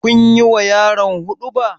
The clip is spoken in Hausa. Kun yi ma yaron huɗuba?